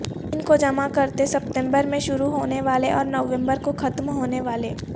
ان کو جمع کرتے ستمبر میں شروع ہونے والے اور نومبر کو ختم ہونے والے